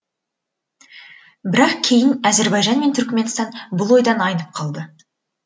бірақ кейін әзербайжан мен түрікменстан бұл ойдан айнып қалды